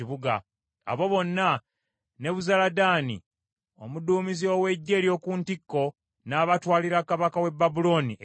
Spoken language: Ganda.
Abo bonna Nebuzaladaani omuduumizi ow’eggye ery’oku ntikko n’abatwalira kabaka w’e Babulooni e Libula.